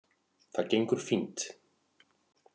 Það gengur fínt